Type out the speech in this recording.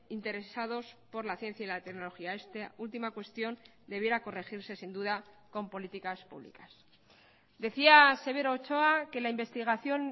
interesados por la ciencia y la tecnología esta última cuestión debiera corregirse sin duda con políticas públicas decía severo ochoa que la investigación